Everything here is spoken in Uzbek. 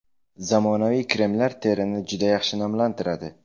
Zamonaviy kremlar terini juda yaxshi namlantiradi.